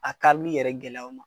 A karili yɛrɛ gɛlɛy'aw ma.